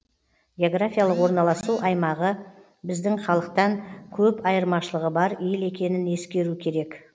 географиялық орналасу аймағы біздің халықтан көп айырмашылығы бар ел екенін ескеру керек